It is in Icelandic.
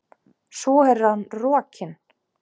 Svo er hann rokinn.